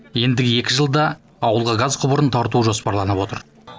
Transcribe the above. ендігі екі жылда ауылға газ құбырын тарту жоспарланып отыр